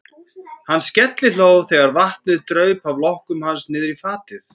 Hann skellihló þegar vatnið draup af lokkum hans niðrí fatið.